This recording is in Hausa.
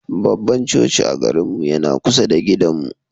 Babban coci a garinmu yana kusa da gidanmu.